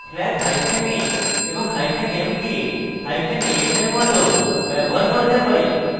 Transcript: আমরা flags hyphen a এবং hyphen m কে hyphen am we মত ব্যবহার করতে পারি